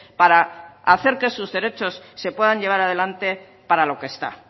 para hacer que sus derechos se puedan llevar adelante para lo que está